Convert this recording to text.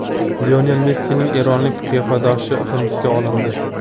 Lionel Messining eronlik qiyofadoshi hibsga olindi.